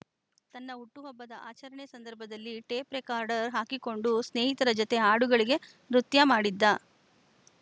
ತನ್ನ ಹುಟ್ಟುಹಬ್ಬದ ಆಚರಣೆ ಸಂದರ್ಭದಲ್ಲಿ ಟೇಪ್‌ ರೆಕಾರ್ಡರ್‌ ಹಾಕಿಕೊಂಡು ಸ್ನೇಹಿತರ ಜತೆ ಹಾಡುಗಳಿಗೆ ನೃತ್ಯ ಮಾಡಿದ್ದ